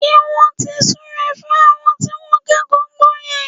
Ṣé wọ́n ti súre fún àwọn tí wọ́n kẹ́kọ̀ọ́ gboyè?